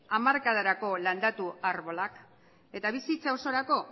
hamarkadarako landatu arbolak eta bizitza osorako